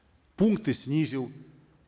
пункты снизил